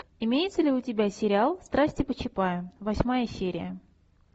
имеется ли у тебя сериал страсти по чапаю восьмая серия